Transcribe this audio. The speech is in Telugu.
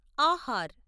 ఆహార్